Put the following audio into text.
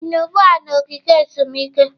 Ị nọ ugbu a na ogige ezumike?